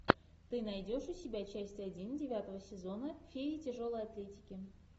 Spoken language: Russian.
ты найдешь у себя часть один девятого сезона феи тяжелой атлетики